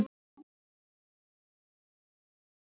Dragan er mjög fínn þjálfari.